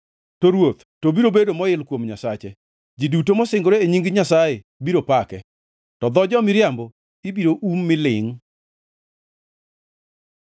To ruoth to biro bedo moil kuom Nyasaye; ji duto masingore e nying Nyasaye biro pake, to dho jo-miriambo ibiro um mi lingʼ.